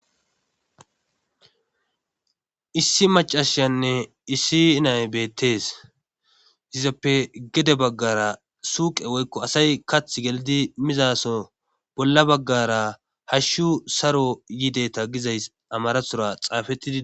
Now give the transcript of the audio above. issi macashanne issi nay beettees yizappe gede baggara suuqe woykko asay kath gelidi mizaso bolla baggara hashshu saro yideta gizays amarathora xaafettidi